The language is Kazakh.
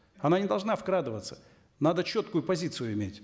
она не должна вкрадываться надо четкую позицию иметь